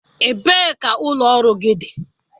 Ebee ka ụlọ ọrụ gị dị?